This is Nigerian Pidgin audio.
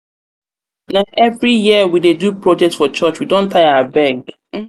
na every year we dey do project for church? we don tire abeg.